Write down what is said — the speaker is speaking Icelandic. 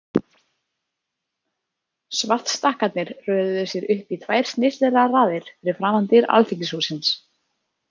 Svartstakkarnir röðuðu sér upp í tvær snyrtilegar raðir fyrir framan dyr Alþingishússins.